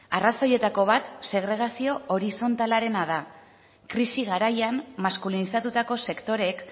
arrazoietako bat segregazio horizontalarena da krisi garaian maskulinizatutako sektoreek